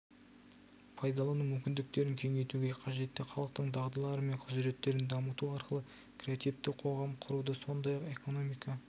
пайдалану мүмкіндіктерін кеңейтуге қажетті халықтың дағдылары мен құзыреттерін дамыту арқылы креативті қоғам құруды сондай-ақ экономика